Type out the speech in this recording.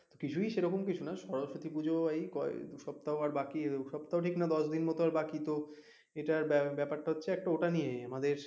কিছুই সেরকম কিছু না সরস্বতী পূজা এই কয়েক সপ্তাহ আর বাকি দু সপ্তাহ ঠিক না দশ দিন মতো বাকি তো এটার ব্যাপারটা হচ্ছে একটা ওটা নিয়েই আমাদের,